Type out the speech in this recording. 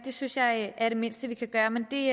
synes jeg er det mindste vi kan gøre men det